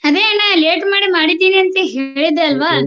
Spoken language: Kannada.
ಅದೇ ಅಣ್ಣ late ಮಾಡಿ ಮಾಡಿದೀನಿ ಅಂತಾ ಹೇಳಿದೆ ಅಲ್ವಾ.